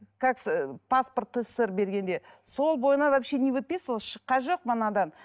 паспорт ссср бергенде сол бойына вообще не выписывалась шыққан жоқпын анадан